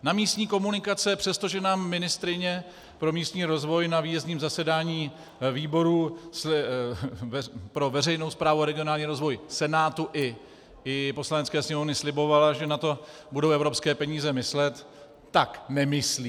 Na místní komunikace, přestože nám ministryně pro místní rozvoj na výjezdním zasedání výboru pro veřejnou správu a regionální rozvoj Senátu i Poslanecké sněmovny slibovala, že na to budou evropské peníze myslet, tak nemyslí.